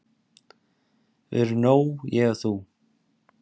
Við erum nóg ég og þú!